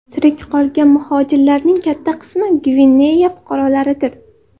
Tirik qolgan muhojirlarning katta qismi Gvineya fuqarolaridir.